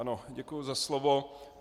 Ano, děkuji za slovo.